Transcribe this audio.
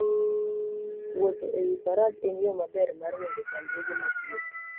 Wuotho e wi faras en yo maber mar ringo chandruoge mag wuoth.